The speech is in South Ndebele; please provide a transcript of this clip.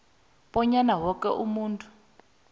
bonyana woke umuntu